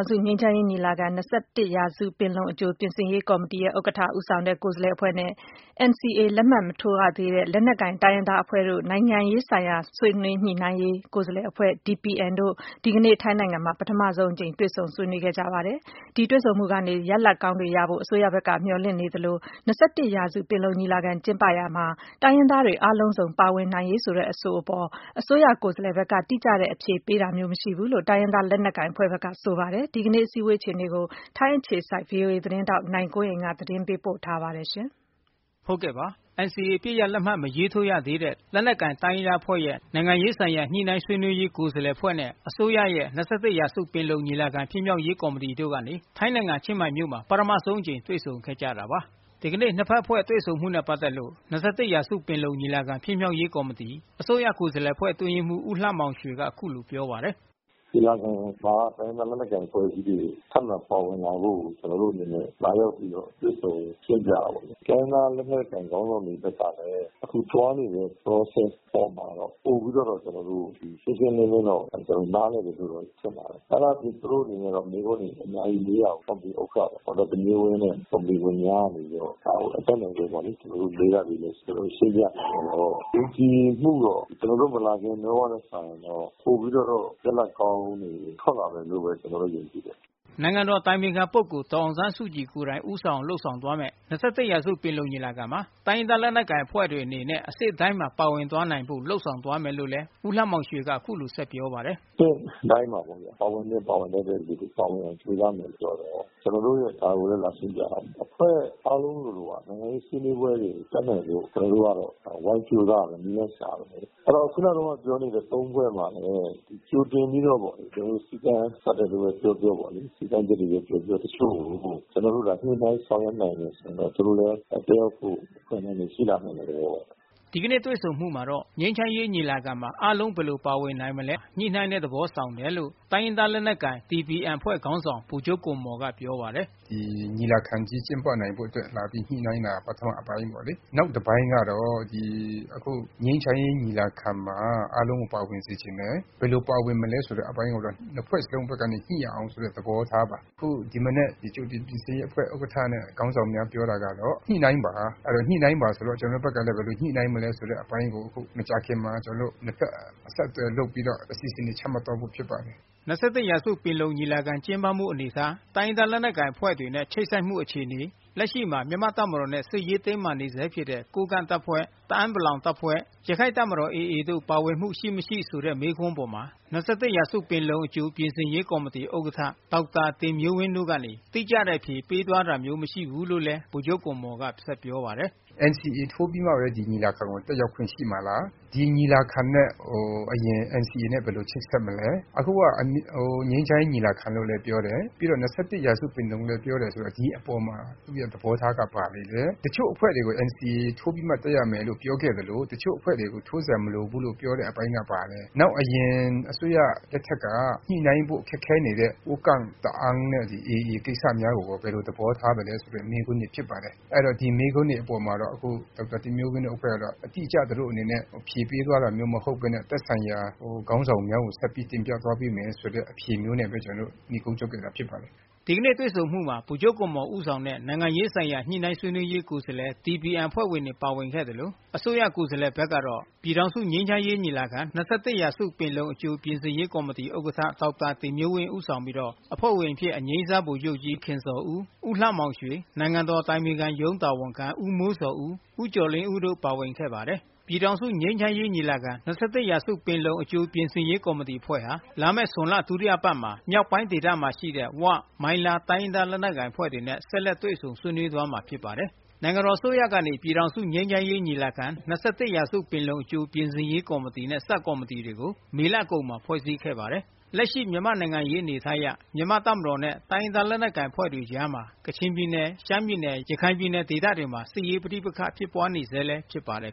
င်စု ငြိမ်းချမ်းရေးညီလာခံ-၂၁ ရာစုပင်လုံ အကြိပြင်ဆင်ရေး ကော်မတီ ဥက္ကဋ္ဌ ဒေါက်တာတင်မျိုးဝင်း ဦးဆောင်တဲ့ အစိုးရ ကိုယ်စားလှယ် အဖွဲ့နဲ့ NCA လက်မှတ် မထိုးရသေးတဲ့ လက်နက်ကိုင် တိုင်းရင်းသားအဖွဲ့ရဲ့ နိုင်ငံရေးဆိုင်ရာ ညှိနှိုင်းဆွေးနွေးရေး ကိုယ်စားလှယ်အဖွဲ့ DPN တို့ ဒီကနေ့ ထိုင်းနိုင်ငံမှာ ပထမဆုံးအကြိမ်တွေ့ဆုံဆွေးနွေးခဲ့ကြပါတယ်။ အခုတွေ့ဆုံမှု ဟာ ရလဒ်ကောင်းတွေ ရရှိနိုင်မယ်လို့ အစိုးရကိုယ်စားလှယ်ဘက် က မျှော်လင့်နေသလို ၂၁ ရာစု ပင်လုံညီလာခံ ကျင်းပရာမှာ တိုင်းရင်းသားတွေ အားလုံးစုံ ပါဝင်နိုင်ရေး ဆိုတဲ့ အဆိုအပေါ် အစိုးရ ကိုယ်စားလှယ်ဘက်ကနေ တိကျတဲ့အဖြေပေးတာမျိုး မရှိဘူးလို့ တိုင်းရင်းသား လက်နက်ကိုင်အဖွဲ့ဘက်က ဆိုပါတယ်။ ဒီကနေ့ကျင်းပတဲ့ အစည်းအဝေးအခြေအနေကိုတော့ ဗွီအိုအေ ထိုင်းအခြေစိုက် သတင်းထောက် နိုင်ကွန်းအိမ်ကနေ အခုလို သတင်းပေးပို့ထားပါတယ်။ NCA အပစ်ရပ်လက်မှတ် မထိုးရသေးတဲ့ လက်နက်ကိုင်တိုင်းရင်းသားအဖွဲ့ရဲ့ နိုင်ငံရေး ဆိုင်ရာ ညှိနှိုင်းဆွေးနွေးရေး ကိုယ်စားလှယ်အဖွဲ့ DPN အဖွဲ့နဲ့ အစိုးရရဲ့ ၂၁ ရာစု ပင်လုံညီလာခံဖြစ်မြောက်ရေးကော်မတီတို့ ထိုင်း နိုင်ငံ ချင်းမိုင်မြို့မှာ ပထမဆုံးအကြိမ်တွေ့ဆုံခဲ့ကြတာပါ။ ဒီကနေ့ နှစ်ဘက်အဖွဲ့ တွေ့ဆုံမှုနဲ့ ပတ်သက်လို့ ၂၁ ရာစု ပင်လုံ ညီလာခံဖြစ်မြောက်ရေးကော်မတီ အစိုးရကိုယ်စားလှယ်အဖွဲ့ အတွင်းရေးမှူး ဦးလှမောင်ရွှေက အခုလိုပြောပါတယ်။ " ညီလာခံမှာ တိုင်းရင်းသားလက်နက်ကိုင်အဖွဲ့အစည်းတွေ ထပ်မံပါဝင်လာဖို့ ကျနော်တို့အနေနဲ့ လာရောက်ပြီးတော့ တွေ့ဆုံရှင်းပြတာပေါ့လေ။ တိုင်းရင်းသား လက်နက်ကိုင်ခေါင်းဆောင်တွေဘက်ကလည်း အခုသွားနေတဲ့ Process အောက်မှာ ပိုပြီးတော့ ရှင်းရှင်းလင်းလင်းတော့ နားလည်တယ်လို့တော့ ထင်ပါတယ်။ အဲ့တာအပြင် သူတို့အနေနဲ့ မေးခွန်းတွေ အများကြီးမေး ပါတယ်။ ဒေါက်တာ တင်မျိုးဝင်း နဲ့ ဘေးကနေ ကျနော်တို့တွေလည်း အတတ်နိုင်ဆုံးတော့ ရှင်းပြကြတော့ ယုံကြည်မှုတော့ ကျနော်တို့ မလာခင်တုန်းကထက် စာရင်တော့ ပိုပြီးတော့ ရလဒ်ကောင်းတွေ ထွက်လာမယ်လို့ ကျနော်ကတော့ ယုံကြည်တယ်။ နိုင်ငံတော်အတိုင်ပင်ခံပုဂ္ဂိုလ် ဒေါ်အောင်ဆန်းစုကြည်ကိုယ်တိုင် ဦးဆောင် လုပ်ဆောင်သွားမယ့် ၂၁ ရာစုပင်လုံညီလာခံမှာ တိုင်းရင်းသား လက်နက်ကိုင်အဖွဲ့ အနေနဲ့ အဆင့်တိုင်းမှာ ပါဝင်သွားနိုင်ဖို့ လုပ်ဆောင်သွားမယ်လို့လည်း ဦးလှမောင်ရွှေက အခုလိုပြောပါတယ်။ " အဆင့်တိုင်းမှာ ပါဝင်သင့်ပါဝင်ထိုက်သူတွေ ပါဝင်နိုင်အောင် ကြိုးစားမယ်လို့ ဒါကိုလည်း လာရှင်းပြတာပါ။ အဖွဲ့အားလုံးလိုလို နိုင်ငံရေးဆွေးနွေးပွဲတွေမှာ တက်နိုင်အောင်လို့ အတတ်နိုင်ဆုံး ကျနော်တို့ကတော့ ဝိုင်းကြိုးစားရမယ်။ နည်းလမ်းရှာရမယ်။ အဲ့တော့ ခုနက ပြောတဲ့သုံးဖွဲ့မှာလည်းပဲ ကြိုတင် ပြီးတော့ပေါ့လေ စည်းကမ်းသတ်မှတ်တယ်ပဲပြောပြော စည်းကမ်းချက်တွေ ပဲပြောပြောပေါ့လေ တချို့ကို ကျနော်တို့ ညှိနှိုင်းဆောင်ရွက်နိုင်တယ် ဆိုရင်တော့ တက်ရောက်ဖို့ကို အခွင့်အလမ်းတွေ ရှိလာနိုင်တဲ့သဘောပါပဲ။ " ဒီကနေ့တွေ့ဆုံမှုမှာ ငြိမ်းချမ်းရေးညီလာခံမှာ အားလုံးဘယ်လိုပါဝင်နိုင်မလဲ အနေအထား အပေါ် ညှိနှိုင်းတဲ့သဘော ဆောင်တယ်လို့ တိုင်းရင်းသား လက်နက်ကိုင် DPN အဖွဲ့ ခေါင်းဆောင် ဗိုလ်ချုပ်ဂွမ်မော်ကပြောပါတယ်။ " ဒီညီလာခံကြီးကျင်းပနိုင်ဖို့အတွက် လာပြီး ညှိနှိုင်းတာ ပထမ အပိုင်းပေါ့လေ။ နောက်တပိုင်း ကတော့ အခု ဒီငြိမ်းချမ်းရေး ညီလာခံမှာ အားလုံးကို ပါဝင်စေချင်တယ်။ ဘယ်လို ပါဝင်မလဲ ဆိုတဲ့အပိုင်းကိုတော့ နှစ်ဖွဲ့စလုံးဘက်ကနေ ညှိရအောင်ဆိုတဲ့ သဘောထားပါ။ အခု ဒီမနက် ကြိုတင်ပြင်ဆင်ရေးအဖွဲ့ ဥက္ကဋ္ဌနဲ့ ခေါင်းဆောင်များ ပြောတာကတော့ ညှိနှိုင်းပါ ဆိုတော့ ကျနော်တို့ဘက်ကလည်း ဘယ်လိုညှိနှိုင်းမလဲဆိုတဲ့ အပိုင်းကို အခုမကြာခင်မှာ နှစ်ဘက် အဆက်အသွယ်လုပ်ပြီးတော့ အစီအစဉ်တွေ ချမှတ်သွားဖို့ဖြစ်ပါတယ်။" ၂၁ ရာစုပင်လုံညီလာခံကျင်းပမှု အနေအထား တိုင်းရင်းသားတွေ လက်နက်ကိုင် အဖွဲ့ တွေနဲ့ ချိတ်ဆက်မှု အခြေအနေ လက်ရှိမှာ မြန်မာ့တပ်မတော်နဲ့ စစ်ရေး တင်းမာနေဆဲဖြစ်တဲ့ ကိုးကန့်တပ်ဖွဲ့၊ တအာင်း ပလောင်တပ်ဖွဲ့၊ ရခိုင့်တပ်မတော် AAတို့ ပါဝင်မှု ရှိမရှိ ဆိုတဲ့မေးခွန်းအပေါ် ၂၁ ရာစုပင်လုံ အကြိပြင်ဆင်ရေးကော်မတီ ဥက္ကဋ္ဌ ဒေါက်တာတင်မျိုးဝင်းတို့ ဘက်ကနေ တိကျတဲ့အဖြေပေးသွားတာမျိုးမရှိဘူးလို့ ဗိုလ်ချုပ်ဂွမ်မော်ကပြောပါတယ်။ " NCA ထိုးပြီးမှပဲ ဒီညီလာခံကို တက်ရောက်ခွင့်ရှိမှာလား။ ဒီညီလာခံနဲ့အရင် NCA နဲ့ ဘယ်လိုချိတ်ဆက်မလဲ။ အခုက ငြိမ်းချမ်းရေး ညီလာခံလို့လည်း ပြောတယ်။ ပြီးတော့ ၂၁ ရာစုပင်လုံလည်း ပြောတယ်ဆိုတော့ ဒီအပေါ်မှာ သူ့ရဲ့သဘောထားက ဘာတွေလည်း တချို့ အဖွဲ့တွေကို NCA ထိုးပြီးမှ တက်ရမယ်လို့ ပြောခဲ့သလို တချို့အဖွဲ့တွေကို NCA ထိုးစရာမလိုဘူးလို့ပြောတဲ့အပိုင်းက ဘာလဲ။ နောက်အရင် အစိုးရတုန်းက ညှိနှိုင်းဖို့ ခက်ခဲနေတဲ့ ကိုးကန့်တပ်ဖွဲ့၊ တအာင်း ပလောင်တပ်ဖွဲ့၊ ရခိုင် AA ကိစ္စများကိုရော ဘယ်လိုသဘောထားမလဲ ဆိုတဲ့ မေးခွန်းတွေ ဖြစ်ပါတယ်။ အဲ့တော့ ဒီမေးခွန်းတွေအပေါ်မှာတော့ ဒေါက်တာတင်မျိုးဝင်းတို့အဖွဲ့ကတော့ အတိအကျ အဖြေပေးသွားတာမဟုတ်ပဲနဲ့ သက်ဆိုင်ရာ ခေါင်းဆောင်များကို ဆက်ပြီးတင်ပြသွားပေးမယ်ဆိုတဲ့ အဖြေမျိုးနဲ့ပဲ ကျနော်တို့ နိဂုံးချုပ်ခဲ့တာဖြစ်ပါတယ်။" ဒီကနေ့တွေ့ဆုံမှုမှာ ဗိုလ်ချုပ်ဂွမ်မော် ဦးဆောင်တဲ့ နိုင်ငံရေးဆိုင်ရာ ညှိနှိုင်းဆွေးနွေးရေး ကိုယ်စားလှယ် DPN အဖွဲ့ဝင်တွေ ပါဝင်ခဲ့သလို အစိုးရ ကိုယ်စားလှယ်ဘက်က ပြည်ထောင်စု ငြိမ်းချမ်းရေးညီလာခံ-၂၁ ရာစုပင်လုံ အကြိပြင်ဆင်ရေးကော်မတီ ဥက္ကဋ္ဌ ဒေါက်တာတင်မျိုးဝင်း ဦးဆောင်ပြီး အဖွဲ့ဝင်အဖြစ် အငြိမ်းစား ဗိုလ်ချူပ်ကြီး ခင်ဇော်ဦး၊ ဦးလှမောင်ရွှေ၊ နိုင်ငံတော် အတိုင်ပင်ခံရုံးတာဝန်ခံ ဦးမိုးဇော်ဦး၊ ဦးကျော်လင်းဦး တို့ ၅ ဦးပါဝင်ပါတယ်။ ပြည်ထောင်စု ငြိမ်းချမ်းရေး ညီလာခံ ရာစုပင်လုံ အကြိုပြင်ဆင်ရေးကော်မတီ ဥက္ကဌ စေ့စပ်ညှိနှိုင်းရေးတာဝန်ခံ ဒေါက်တာ တင်မျိုးဝင်းနဲ့အဖွဲ့ဟာ လာမည့်ဇွန်လ ဒုတိယအပတ်မှာ မြောက်ပိုင်းဒေသတွင်ရှိတဲ့ ဝ မိုင်းလား တိုင်းရင်း သား လက်နက်ကိုင် အဖွဲ့တွေနဲ့ ဆက်လက်တွေ့ဆုံဆွေးနွေးသွားမှာဖြစ်ပါတယ်။ နိုင်ငံတော်အစိုးရကနေ ပြည်ထောင်စုငြိမ်းချမ်းရေးညီလာခံ - ၂၁ရာစုပင်လုံ အကြိုပြင်ဆင်ရေးကော်မတီနဲ့ ဆပ်ကော်မတီတွေကို မေလကုန်မှာဖွဲ့စည်းခဲ့ပါတယ်။ လက်ရှိ မြန်မာနိုင်ငံရေးအနေအထားအရ မြန်မာ့တပ်မတော်နဲ့ တိုင်းရင်းသား လက်နက်ကိုင်အဖွဲ့တွေ အကြား ကချင်ပြည်နယ် ရှမ်းပြည်နယ် ရခိုင်ပြည်နယ်ဒေသတွေ မှာ စစ်ရေးပဋိပက္ခဖြစ်ပွါးနေဆဲဖြစ်နေပါတယ်